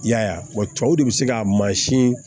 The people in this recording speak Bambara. I y'a ye a wa cɛw de bɛ se ka mansin